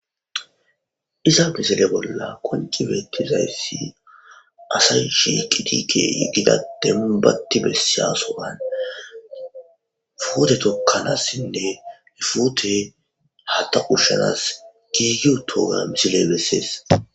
iza misile bolla konci beettizayssi asa shiqitike gida demmu batti bessiyaso7an foote tokkanassinne hifute hata ushshanas giiyu toga misiley bessees